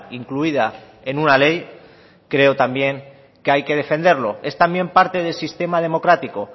incluida en una ley creo también que hay que defenderlo es también parte del sistema democrático